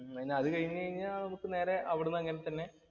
പിന്നെ അത് കഴിഞ്ഞു കഴിഞ്ഞാ നമുക്ക് നേരേ അവിടുന്ന് അങ്ങനെ തന്നെ